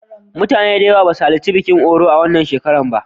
Mutane da yawa ba su halarci bikin Oro a wannan shekara ba.